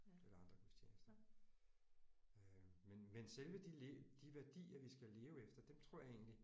Eller andre gudstjenester. Øh men men selve de de værdier vi skal leve efter dem tror jeg egentlig